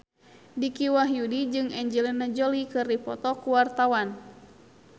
Dicky Wahyudi jeung Angelina Jolie keur dipoto ku wartawan